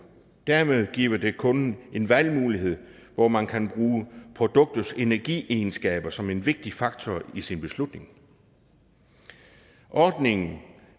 dermed giver det kunden en valgmulighed hvor man kan bruge produktets energiegenskaber som en vigtig faktor i sin beslutning ordningen